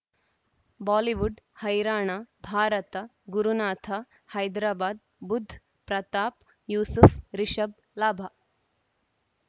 Bollywood ಹೈರಾಣ ಭಾರತ ಗುರುನಾಥ ಹೈದರಾಬಾದ್ ಬುಧ್ ಪ್ರತಾಪ್ ಯೂಸುಫ್ ರಿಷಬ್ ಲಾಭ